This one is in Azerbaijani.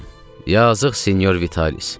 Yazıq Sinyor Vitalis.